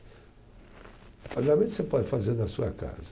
O pagamento você pode fazer na sua casa.